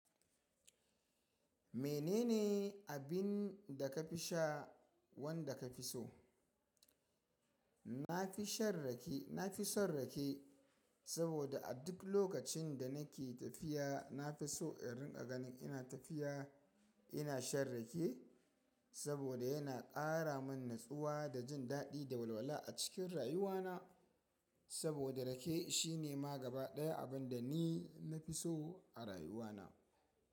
Menene abin da ka fi sha wanda ka fi so? Na fi shan rake, na fi son rake saboda a duk lokacin da nake tafiya na fi so in riƙa ganin ina tafiya. Ina shan rake saboda yana ƙara min natsuwa da jin daɗi da walwala a cikin rayuwana. Saboda rake shine ma gaba ɗaya abin da ni na fi so a rayuwana.